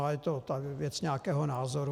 Ale je to věc nějakého názoru.